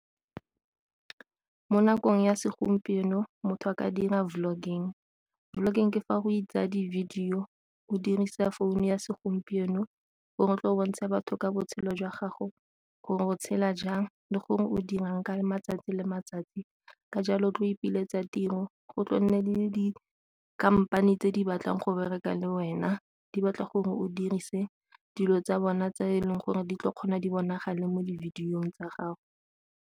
Mo nakong ya segompieno motho a ka dira vlogging, vlogging ke fa o itsa di-video o dirisa founu ya segompieno gore o tlile go bontshe batho ka botshelo jwa gago gore o tshela jang le gore o dira nka le matsatsi le matsatsi ka jalo tlo ipiletsa tiro, go tlo nne le dikhamphane tse di batlang go berekang le wena di batla gore o dirise dilo tsa bona tse e leng gore di tlo kgona di bonagale mo di-video-ng tsa gago.